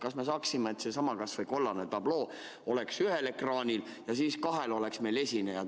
Kas ei saaks, et kas või see kollane tabloo oleks ühel ekraanil ja kahel oleks esinejad?